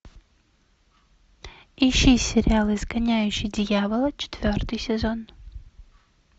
ищи сериал изгоняющий дьявола четвертый сезон